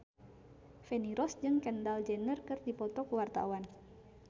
Feni Rose jeung Kendall Jenner keur dipoto ku wartawan